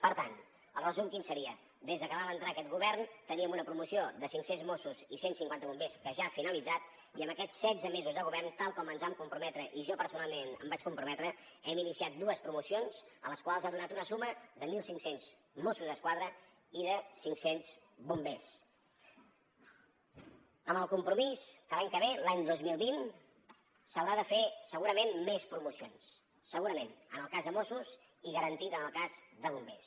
per tant el resum quin seria des de que vam entrar aquest govern teníem una promoció de cinc cents mossos i cent cinquanta bombers que ja ha finalitzat i amb aquests setze mesos de govern tal com ens vam comprometre i jo personalment em vaig comprometre hem iniciat dues promocions les quals han donat una suma de mil cinc cents mossos d’esquadra i de cinc cents bombers amb el compromís que l’any que ve l’any dos mil vint s’haurà de fer segurament més promocions segurament en el cas de mossos i garantit en el cas de bombers